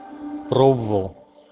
пробовал